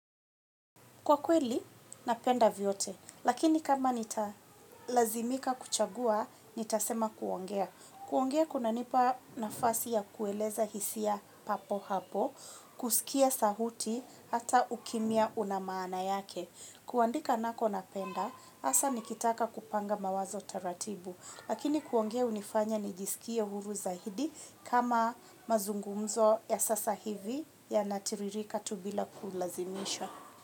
Kwa kweli napenda vyote lakini kama nitalazimika kuchagua nitasema kuongea. Kuongea kuna nipa nafasi ya kueleza hisia papo hapo, kusikia sahuti, hata ukimia unamaana yake. Kuandika nako napenda, hasa nikitaka kupanga mawazo taratibu, lakini kuongea hunifanya nijisikie huru zaidi kama mazungumzo ya sasa hivi ya natiririka tu bila kulazimisha.